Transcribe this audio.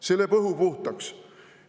See lööb õhu puhtaks!